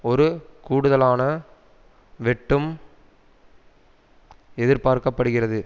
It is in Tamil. ஒரு கூடுதலான வெட்டும் எதிர்பார்க்க படுகிறது